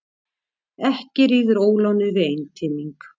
Ekki ríður ólánið við einteyming.